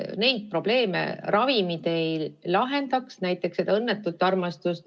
Neid probleeme, näiteks õnnetut armastust, ravimid ei lahenda.